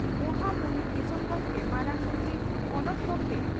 ᱢᱚᱦᱟ ᱢᱩᱦᱤᱢ ᱫᱤᱥᱚᱢ ᱜᱚᱢᱠᱮ ᱢᱟᱨᱟᱝ ᱢᱚᱱᱛᱨᱤ ᱯᱚᱱᱚᱛ ᱜᱚᱢᱠᱮ